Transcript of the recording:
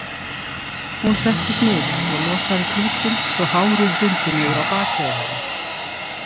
Hún settist niður og losaði klútinn svo hárið hrundi niður á bakið á henni.